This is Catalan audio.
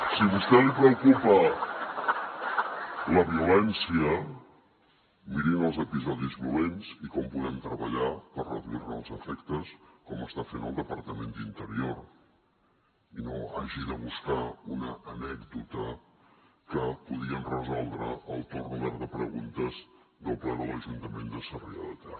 si a vostè li preocupa la violència mirin els episodis violents i com podem treballar per reduir ne els efectes com està fent el departament d’interior i no hagi de buscar una anècdota que podien resoldre al torn obert de preguntes del ple de l’ajuntament de sarrià de ter